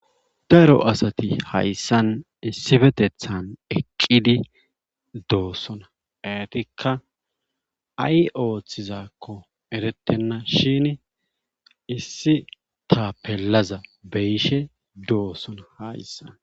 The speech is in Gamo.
daro asati hayssan issifetethan eqqidi doossona etikka ay ooththizakko eretenna shin issi ta pellaza beyshe doosona hayssa